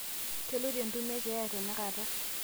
keloito entumo ekeeya teinakata